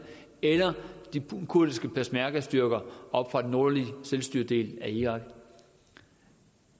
eller de kurdiske peshmergastyrker oppe fra den nordlige selvstyredel af irak